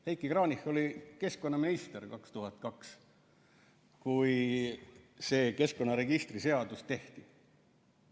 Heiki Kranich oli keskkonnaminister 2002, kui see keskkonnaregistri seadus tehti.